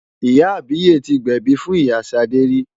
Ìyá àbíyè ti gbẹ̀bi fún ìyá Ṣadé rí.